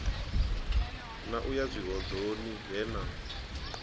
na u yazwihoḓoni he na